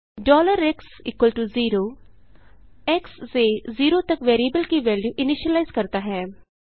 x0 x से zero तक variable की वेल्यू इनीशियलाइज करता है